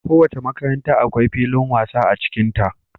Kowace makaranta akwai filin masa a cikinta.